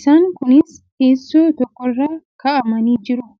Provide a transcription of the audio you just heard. Isaan kunis teessoo tokkorra kaa'amanii jiru.